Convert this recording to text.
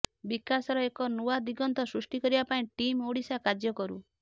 ବିକାଶର ଏକ ନୂଆ ଦିଗନ୍ତ ସୃଷ୍ଟି କରିବା ପାଇଁ ଟିମ୍ ଓଡିଶା କାର୍ଯ୍ୟ କରୁ